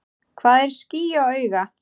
Hvað er ský á auga?